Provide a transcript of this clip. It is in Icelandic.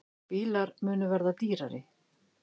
Bílar munu verða dýrari